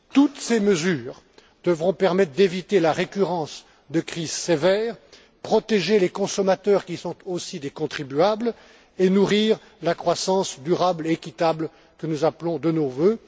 Toutes ces mesures devront permettre d'éviter la récurrence de crises sévères, protéger les consommateurs, qui sont aussi des contribuables, et nourrir la croissance durable et équitable que nous appelons de nos vœux.